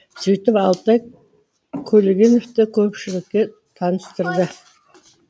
сөйтіп алтай көлгеновті көпшілікке таныстырды